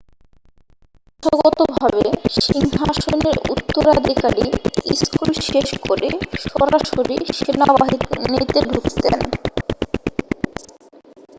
প্রথাগতভাবে সিংহাসনের উত্তরাধিকারী স্কুল শেষ করে সরাসরি সেনাবাহিনীতে ঢুকতেন